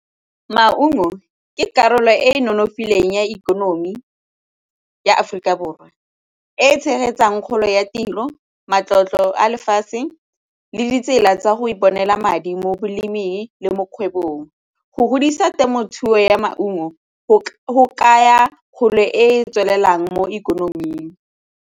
Maungo ke karolo e e nonofileng ya ikonomi ya Aforika Borwa e e tshegetsang kgolo ya tiro, matlotlo a lefatshe le ditsela tsa go iponela madi mo boleming le mo kgwebong. Go godisa temothuo ya maungo go kaya kgolo e e tswelelang mo ikonoming.